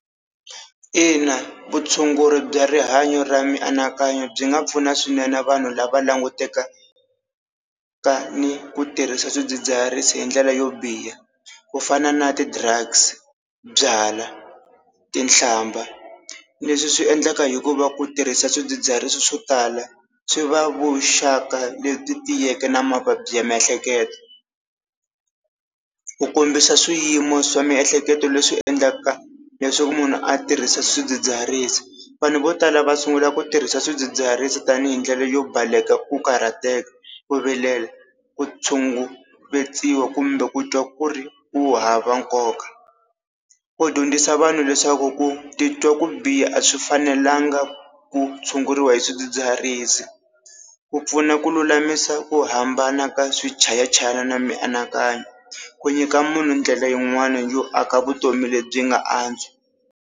Ina vutshunguri bya rihanyo ra mianakanyo byi nga pfuna swinene vanhu lava langutekaka ni ku tirhisa swidzidziharisi hi ndlela yo biha, ku fana na ti-drugs, byala, tinhlamba leswi swi endleka hikuva ku tirhisa swidzidziharisi swo tala swi va vuxaka lebyi tiyeke na mavabyi ya miehleketo. Ku kombisa swiyimo swa miehleketo leswi endlaka leswaku munhu a tirhisa swidzidziharisi. Vanhu vo tala va sungula ku tirhisa swidzidziharisi tanihi ndlela yo baleka ku karhateka, ku vilela, ku tshunguriwa kumbe ku twa ku ri ku hava nkoka. Ku dyondzisa vanhu leswaku ku titwa ku biha a swi fanelanga ku tshunguriwa hi swidzidziharisi. Ku pfuna ku lulamisa ku hambana ka swichayachayani na mianakanyo, ku nyika munhu ndlela yin'wana yo aka vutomi lebyi nga antswa.